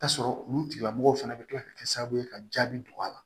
Ta sɔrɔ olu tigila mɔgɔw fana bɛ tila ka kɛ sababu ye ka jaabi don a la